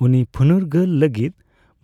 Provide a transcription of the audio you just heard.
ᱩᱱᱤ ᱯᱷᱩᱱᱩᱨᱜᱟᱹᱞ ᱞᱟᱹᱜᱤᱫ